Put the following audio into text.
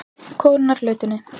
Konurnar í lautinni.